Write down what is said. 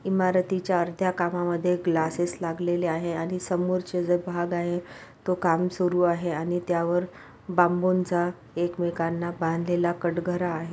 इमारतीच्या अर्ध्या कामामध्ये ग्लासेस लागलेले आहे आणि समोरचे जे भाग आहे तो काम सुरू आहे आणि त्यावर बांबूंचा एकमेकांना बांधलेला कटघरा आहे.